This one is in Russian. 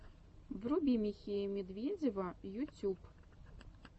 вруби михея медведева ютюб